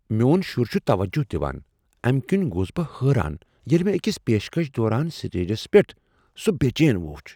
میٚون شٗر چھ توجہ دوان، امہ کنہ گوس بہٕ حٲران ییلہِ مےٚ أکس پیشکش دوران سٹیجس پیٹھ سوٖ بے چین وٖچھ۔